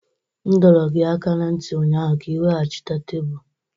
M dọrọ gị aka ná ntị ụnyaahụ ka ị weghachite tebụl!